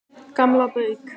Gamla Bauk